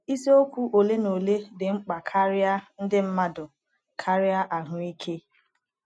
Isiokwu ole na ole dị mkpa karịa ndị mmadụ karịa ahụike.